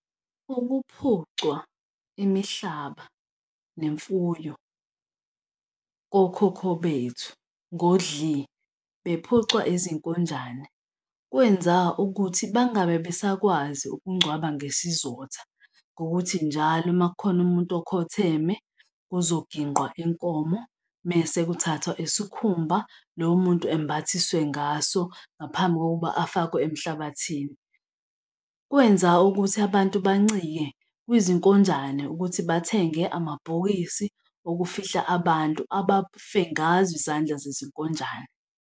Ukuphucwa imihlaba nemfuyo kokhokho bethu ngodli bephucwa izinkonjane, kwenza ukuthi bangabe besakwazi ukungcwaba ngesizotha. Ngokuthi njalo uma kukhona umuntu okhotheme kuzonginqwa inkomo mese kuthathwa isikhumba lowo muntu embathiswe ngaso ngaphambi kokuba afakwe emhlabathini, kwenza ukuthi abantu bancike kwi-zinkonjane ukuthi bathenge amabhokisi okufihla abantu abafe ngazo izandla zezinkonjane.